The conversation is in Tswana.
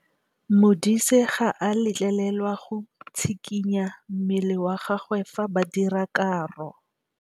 Modise ga a letlelelwa go tshikinya mmele wa gagwe fa ba dira karô.